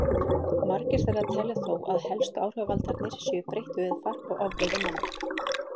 Margir þeirra telja þó að helstu áhrifavaldarnir séu breytt veðurfar og ofveiði manna.